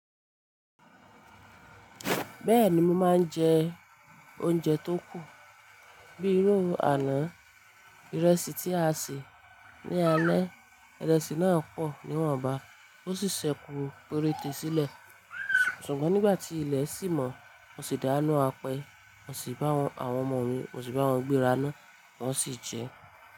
Bẹ́ẹ̀ni mo máa ń jẹ oúnjẹ tó kù bíi irú àná. Ìrẹsì tí a sè ní alẹ́, ìrẹsì náà pọ̀ níwọ̀nba ó sì ṣẹ́kù péréńte sílẹ̀ Ṣùgbọ́n nígbà tí ilẹ̀ sì mọ́, mo sì dà á nú apẹ mo sì bá àwọn ọmọ mi, mo sì bá wọn gbéra náà wọ́n sì jẹ ẹ́.